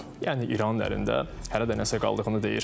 Yəni İranın əlində hələ də nəsə qaldığını deyir.